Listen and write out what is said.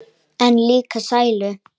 En líka sælu.